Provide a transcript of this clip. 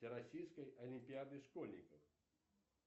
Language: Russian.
всероссийской олимпиады школьников